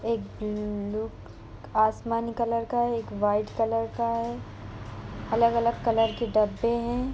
एक ब्लू आसमानी कलर का है एक व्हाइट कलर का है अलग-अलग कलर के डब्बे हैं ।